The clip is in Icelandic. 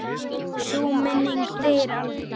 Sú minning deyr aldrei.